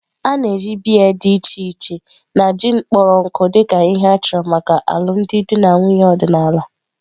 A na-eji biya dị iche iche na gin kpọrọ nkụ dị ka ihe a chọrọ maka alụmdi na nwunye ọdịnala.